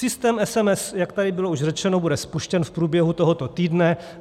Systém SMS, jak tady bylo už řečeno, bude spuštěn v průběhu tohoto týdne.